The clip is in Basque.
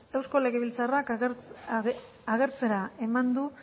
eusko legebiltzarrak agertzera eman du